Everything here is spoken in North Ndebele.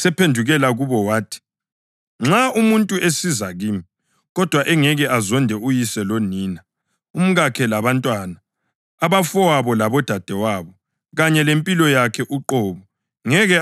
“Nxa umuntu esiza kimi, kodwa engeke azonda uyise lonina, umkakhe labantwana, abafowabo labodadewabo, kanye lempilo yakhe uqobo, ngeke abe ngumfundi wami.